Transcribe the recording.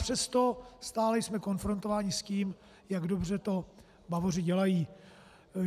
Přesto jsme stále konfrontováni s tím, jak dobře to Bavoři dělají.